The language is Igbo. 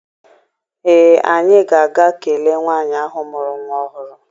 Ee, anyị ga-aga kelee nwaanyị ahụ mụrụ nwa ọhụrụ.